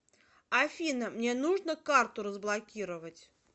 афина мне нужно карту разблокировать